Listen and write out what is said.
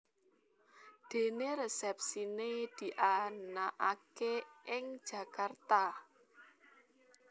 Dené resepsiné dianakaké ing Jakarta